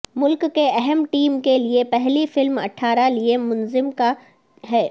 ملک کے اہم ٹیم کے لیے پہلی فلم اٹھارہ لئے منظم کیا ہے